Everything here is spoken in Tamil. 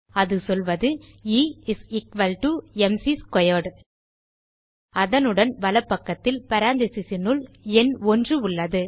அது சொல்வது E is equal to m c squared அதனுடன் வலப்பக்கத்தில் parenthesesனுள் எண் ஒன்று உள்ளது